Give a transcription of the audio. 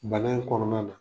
Bana in kɔnɔna na.